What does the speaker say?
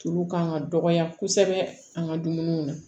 Tulu kan ka dɔgɔya kosɛbɛ an ka dumuniw na